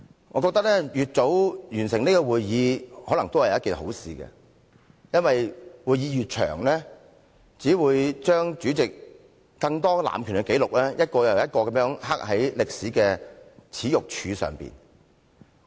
我認為，越早完成這次會議或許是好事，因為會議越長，只會將主席更多的濫權紀錄，一個又一個地刻在歷史的耻辱柱上。